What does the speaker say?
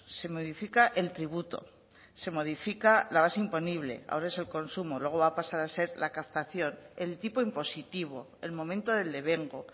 se modifica el tributo se modifica la base imponible ahora es el consumo luego va a pasar a ser la captación el tipo impositivo el momento del devengo